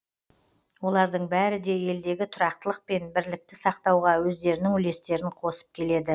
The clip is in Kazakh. олардың бәрі де елдегі тұрақтылық пен бірлікті сақтауға өздерінің үлестерін қосып келеді